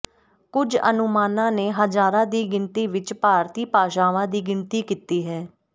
ਕੁਝ ਅਨੁਮਾਨਾਂ ਨੇ ਹਜ਼ਾਰਾਂ ਦੀ ਗਿਣਤੀ ਵਿਚ ਭਾਰਤੀ ਭਾਸ਼ਾਵਾਂ ਦੀ ਗਿਣਤੀ ਕੀਤੀ ਹੈ